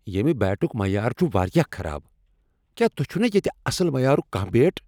ییمِہ بِیٹُک معیار چھ واریاہ خراب۔ کیا تۄہہ چھو نہٕ ییٚتہ اصل معیارک کانٛہہ بیٹ؟